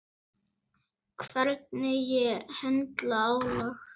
Þá er hann bestur.